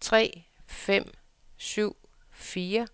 tre fem syv fire